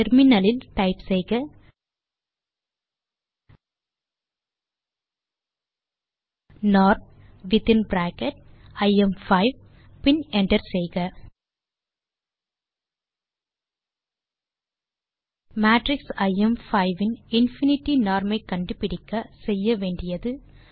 terminal லில் type செய்க norm within bracket I M five பின் என்டர் செய்க மேட்ரிக்ஸ் ஐஎம்5 இன் இன்ஃபினிட்டி நார்ம் ஐ கண்டுபிடிக்க செய்ய வேண்டியது